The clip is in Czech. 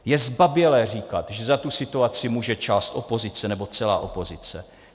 Je zbabělé říkat, že za tu situaci může část opozice nebo celá opozice.